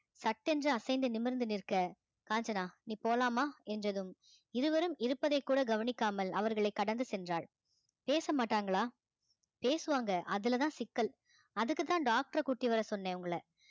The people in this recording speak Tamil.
சட்டென்று அசைந்து நிமிர்ந்து நிற்க காஞ்சனா நீ போலாமா என்றதும் இருவரும் இருப்பதை கூட கவனிக்காமல் அவர்களை கடந்து சென்றாள் பேச மாட்டாங்களா பேசுவாங்க அதுலதான் சிக்கல் அதுக்குத்தான் டாக்டரை கூட்டி வர சொன்னேன் உங்களை